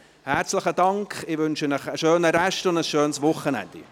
Herzlichen Dank, ich wünsche Ihnen einen schönen Rest und ein schönes Wochenende.